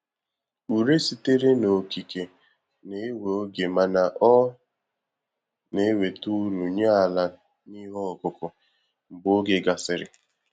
Ure sitere na Okike na-ewe oge mana ọ na-eweta uru nye àlà n'ihe ọkụkụ, mgbe oge gasịrị